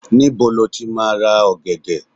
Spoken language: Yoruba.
níbo ni o ti ma ra ògèdè